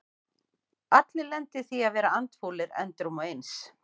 Allir lenda í því að vera andfúlir endrum og eins.